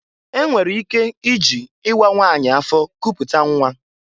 E nwere ike iji ịwa nwanyị afọ kuputa nnwa.